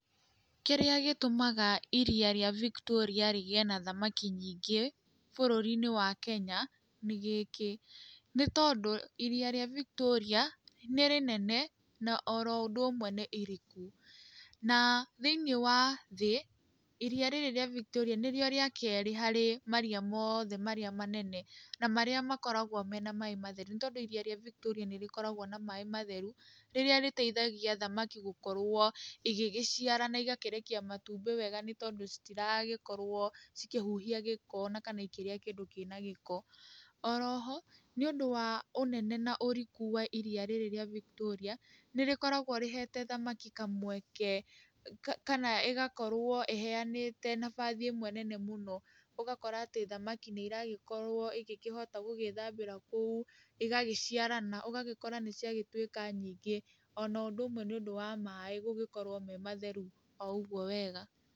Kĩrĩa gĩtũmaga iria rĩa Victoria rĩgĩe na thamaki nyingĩ bũrũri-inĩ wa Kenya nĩ gĩkĩ, nĩ tondũ iria rĩa Victoria nĩ rĩnene na oro ũndũ ũmwe nĩ iriku, na thĩiniĩ wa thĩĩ, iria rĩrĩ rĩa Victoria nĩ rĩo rĩa kerĩ harĩ maria mothe marĩa manene na marĩa makoragwo me na maaĩ matheru nĩ tondũ iria rĩa Victoria nĩ rĩkoragwo na maaĩ matheru rĩrĩa rĩteithagia thamaki gũkorwo igĩgĩciarana igakĩrekia matumbĩ wega nĩ tondũ citiragĩkorwo cikĩhuhia gĩko ona gũkorwo ikĩrĩa kindũ kĩna gĩko. Oroho, nĩ ũndũ wa ũnene na ũriku wa iria rĩrĩ rĩa Victoria, nĩ rĩkoragwo rĩhete thamaki kamweke kana ĩgakorwo ĩheanĩte nafasi ĩmwe nene mũno ũgakora atĩ thamaki nĩ ĩragĩkorwo ĩgĩkĩhota gũgĩĩthambĩra kũu, ĩgagĩciarana, ũgagĩkora nĩ ciagĩtuĩka nyingĩ, ona ũndũ ũmwe nĩ ũndu wa maaĩ gũgĩkorwo me matheru o ũguo wega.